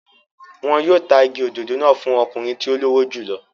Wọn yóò ta igi òdòdó náà fún ọkùnrin tí ó lówó jù lọ.